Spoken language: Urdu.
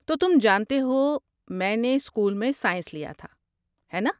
تو تم جانتے ہو میں نے اسکول میں سائنس لیا تھا، ہے ناں؟